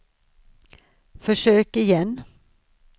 försök igen